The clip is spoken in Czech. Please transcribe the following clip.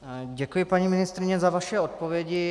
Děkuji, paní ministryně, za vaše odpovědi.